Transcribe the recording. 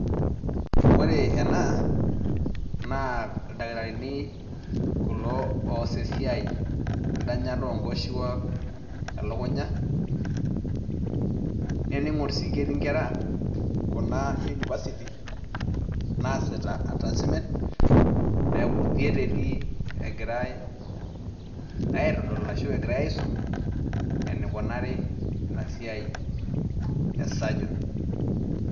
Ore ena naa ildakitarini kulo oos esiai , endanyata onkoshuak , welukunya naa teningor sii ketii inkera kuna euniversity naasita attachment niaku theater egirae aitengen ashu ekigirae asisumenikoni inasiai esurgeon .